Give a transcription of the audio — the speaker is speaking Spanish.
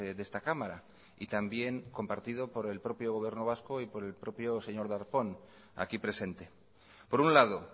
de esta cámara y también compartido por el propio gobierno vasco y por el propio señor darpón aquí presente por un lado